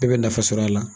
I bɛ nafa sɔrɔ a la